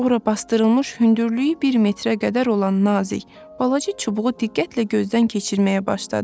Ora basdırılmış hündürlüyü bir metrə qədər olan nazik, balaca çubuğu diqqətlə gözdən keçirməyə başladı.